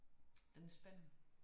Den er spændende